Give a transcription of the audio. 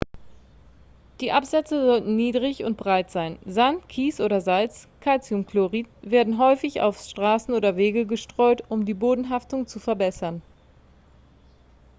die absätze sollten niedrig und breit sein. sand kies oder salz calciumchlorid werden häufig auf straßen oder wege gestreut um die bodenhaftung zu verbessern